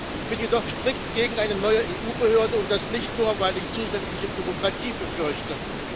Ich bin jedoch strikt gegen eine neue EU-Behörde, und das nicht nur, weil ich zusätzliche Bürokratie befürchte.